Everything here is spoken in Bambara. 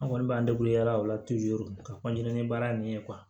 An kɔni b'an yala o la ka ni baara nin ye